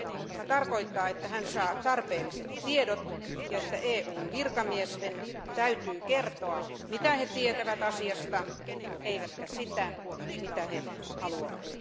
Tämä tarkoittaa, että hän saa tarpeelliset tiedot ja että EUn virkamiesten täytyy kertoa, mitä he tietävät asiasta, eivätkä sitä, mitä he haluavat.